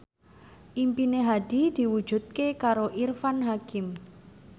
impine Hadi diwujudke karo Irfan Hakim